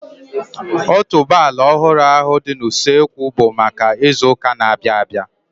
Otuboala ọhụrụ ahu dị n'usekwu bụ maka ịzụ ụka na-abianu